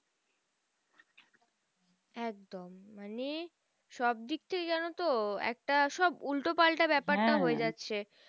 একদম মানে সবদিক থেকে জানতো একটা সব উল্টো পাল্টা ব্যাপারটা হয়ে গেছে।